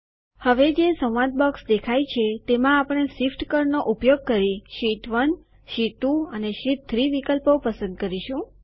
હવે જે સંવાદ બોક્સ દેખાય છે તેમાં આપણે શિફ્ટ કળ નો ઉપયોગ કરી શીટ 1 શીટ 2 અને શીટ 3 વિકલ્પો પસંદ કરીશું